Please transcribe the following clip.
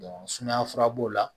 sumaya fura b'o la